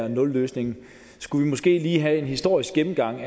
en nulløsning skulle vi måske lige have en historisk gennemgang